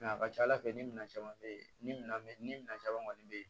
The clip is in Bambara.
a ka ca ala fɛ ni minɛn caman bɛ yen ni minɛn bɛ ni minɛn caman kɔni bɛ yen